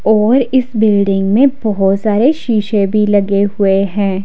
और इस बिल्डिंग में बहुत सारे शीशे भी लगे हुए हैं।